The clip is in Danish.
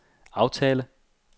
aftale